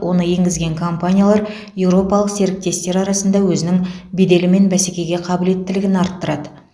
оны енгізген компаниялар еуропалық серіктестер арасында өзінің беделі мен бәсекеге қабілеттілігін арттырады